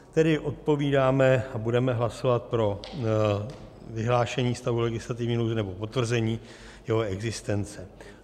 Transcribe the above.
Tedy odpovídáme a budeme hlasovat pro vyhlášení stavu legislativní nouze, nebo potvrzení jeho existence.